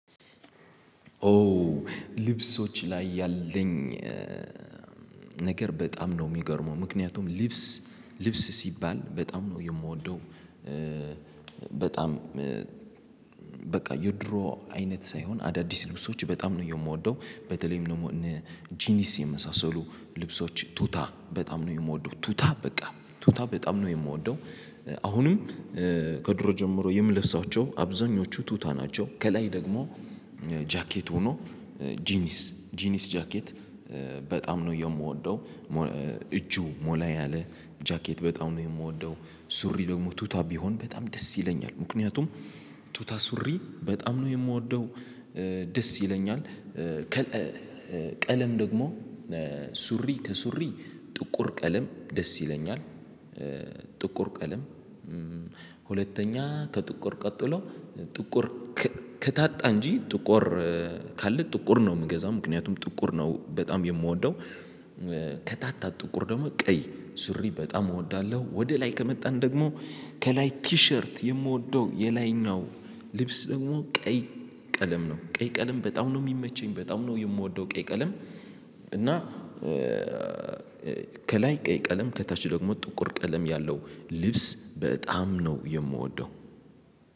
ኦ ልብሶች ላይ ያለኝ ነገር በጣም ነው የሚገርመው ምክንያቱም ሊብስ ሊብስ ሲባል በጣም ነው የምወደው። በጣም በቃ የድሮ አይነት ሳይሆን አዳዲስ ልብሶች በጣም ነው የምወደው በተለይም ደግሞ ጂኒስ የመሳሰሉ ልብሶች ቱታ በጣም ነው የምወደው ቱታ በቃ ቱታ በጣም ነው የምወደው። አሁንም ከድሮ ጀምሮ የምለብሳቸው አብዛኞቹ ቱታ ናቸው። ከላይ ደግሞ ጃኬት ሆኖ ጂኒስ ጂኒስ ጃኬት በጣም ነው የምወደው። እጁ ሞላ ያለ ጃኬት በጣም ነው የምወደው። ሱሪ ደግሞ ቱታ ቢሆን በጣም ደስ ይለኛል ምክንያቱም ቱታ ሱሪ በጣም ነው የምወደው። ደስ ይለኛል። ቀለም ደግሞ ሱሪ ከሱሪ ጥቁር ቀለም ደስ ይለኛል። ጥቁር ቀለም ሁለተኛ ከጥቁር ቀጥሎ ጥቁር ከታጣ እንጂ ጥቁር ካለ ጥቁር ነው የምገዛ ምክንያቱም ጥቁር ነው በጣም የምወደው። ከታጣ ጥቁር ደግሞ ቀይ ሱሪ በጣም እወዳለሁ። ወደ ላይ ከመጣን ደግሞ ከላይ ኪሸርት የምወደው የላይኛው ልብስ ደግሞ ቀይ ቀለም ነው ቀይ ቀለም በጣም ነው የሚመቸኝ በጣም ነው የምወደው ቀይ ቀለም። እና ከላይ ቀይ ቀለም ከታች ደግሞ ጥቁር ቀለም ያለው ልብስ በጣም ነው የምወደው።